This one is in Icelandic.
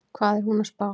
Hvað er hún að spá?